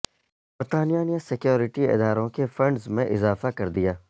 برطانیہ نے سکیورٹی اداروں کے فنڈز میں اضافہ کر دیا